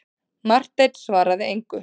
Marteinn svaraði engu.